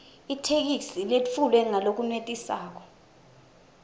itheksthi letfulwe ngalokwenetisako